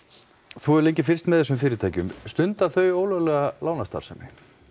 þú hefur lengi fylgst með þessum fyrirtækjum stunda þau ólöglega lánastarfsemi